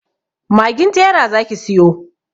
Magin tera zaki siyo.